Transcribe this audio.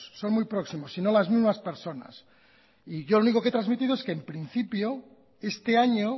son muy próximos si no las mismas personas y yo lo único que he transmitido es que en principio este año